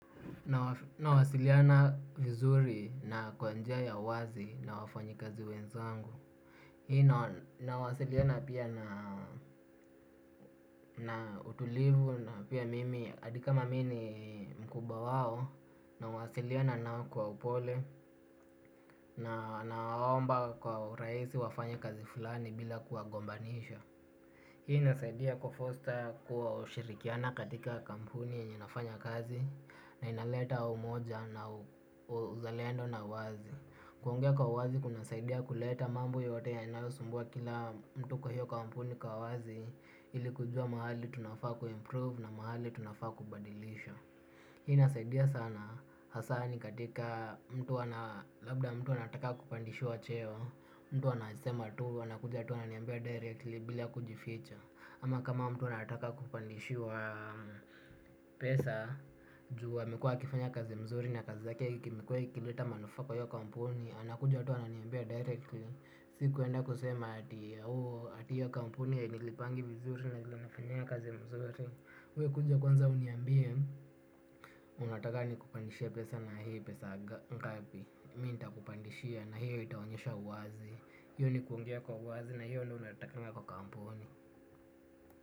Nawasiliana vizuri na kwa njia ya uwazi na wafanyikazi wenzangu. Hii nawasiliana pia na utulivu na pia mimi hadi kama mimi mkubwa wao. Nawasiliana nao kwa upole na naomba kwa urahisi wafanye kazi fulani bila kuwagombanisha. Hii inasaidia kufoster kuwa ushirikiana katika kampuni yenye nafanya kazi na inaleta umoja na uzalendo na uwazi. Kuongea kwa uwazi kunasaidia kuleta mambo yote yanayosumbua kila mtu kwa hiyo kampuni kwa uwazi. Ili kujua mahali tunafaa kuimprove na mahali tunafaa kubadilisha. Hii inasaidia sana hasa ni katika mtu ana labda mtu anataka kupandishiwa cheo. Mtu anasema tu anakuja tu ananiambia directly bila kujificha ama kama mtu nataka kupandishiwa pesa. Juu amekuwa akifanya kazi mzuri na kazi zake imekuwa ikileta manufaa kwa hiyo kampuni. Anakuja tu ananiambia directly. Si kuenda kusema ati hiyo kampuni hainilipangi vizuri na vile nafanyanga kazi mzuri we kuja kwanza uniambie. Unataka nikupandishie pesa na hii pesa ngapi Mi nitakupandishia na hiyo itaonyesha uwazi. Hiyo ni kuongea kwa uwazi na hiyo ni unatakanga kwa kampuni.